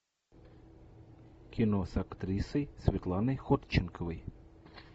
кино с актрисой светланой ходченковой